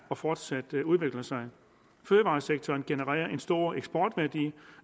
og fortsat udvikler sig fødevaresektoren genererer en stor eksportværdi